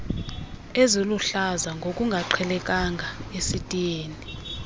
eziluhlaza ngokungaqhelekanga esitiyeni